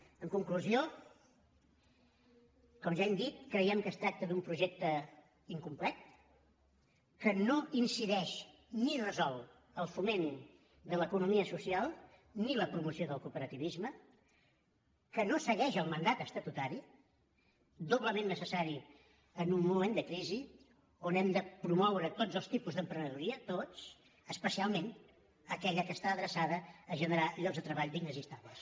en conclusió com ja hem dit creiem que es tracta d’un projecte incomplet que no incideix ni resol el foment de l’economia social ni la promoció del cooperativisme que no segueix el mandat estatutari doblement necessari en un moment de crisi on hem de promoure tots els tipus d’emprenedoria tots especialment aquella que està adreçada a generar llocs de treball dignes i estables